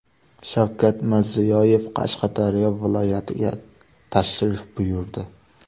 Shavkat Mirziyoyev Qashqadaryo viloyatiga tashrif buyurdi.